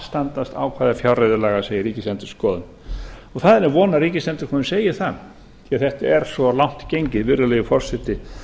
standast ákvæði fjárreiðulaga segir ríkisendurskoðun það er von að ríkisendurskoðun segi það því þetta er svo langt gengið virðulegi forseti